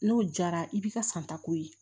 N'o jara i b'i ka santako ye